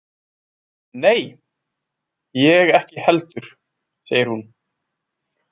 Nei, ég ekki heldur, segir hún.